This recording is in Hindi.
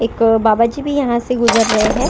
एक बाबा जी भी यहां से गुजर रहे हैं।